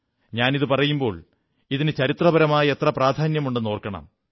ഞാനിതു പറയുമ്പോൾ ഇതിന് ചരിത്രപരമായ എത്ര പ്രാധാന്യമുണ്ടെന്നോർക്കണം